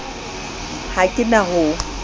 ha ke na ho o